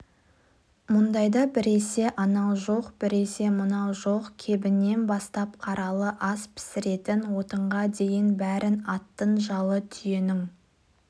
мұндайда біресе анау жоқ біресе мынау жоқ кебіннен бастап қаралы ас пісіретін отынға дейін бәрін аттың жалы түйенің